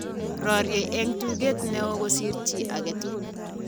Rorie eng tuget ne oo kosir chi age tugul